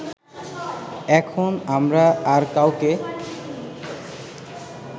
এখন আমরা আর কাউকে